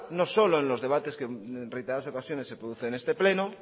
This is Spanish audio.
en no solo en los debates que en reiteradas ocasiones se producen en este pleno